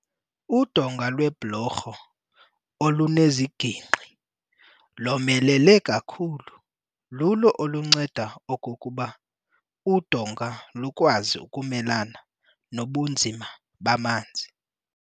Udonga lwebhlorho oluneziginqki lomelele kakhulu lulo olunceda okokuba udonga lukwazi ukumelana nobunzima bamanzi.